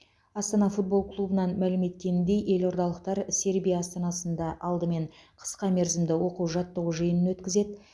астана футбол клубынан мәлім еткеніндей елордалықтар сербия астанасында алдымен қысқа мерзімді оқу жаттығу жиынын өткізеді